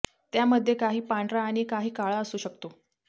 त्यामध्ये काही पांढरा आणि काही काळा असू शकतो